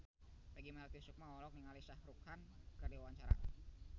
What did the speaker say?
Peggy Melati Sukma olohok ningali Shah Rukh Khan keur diwawancara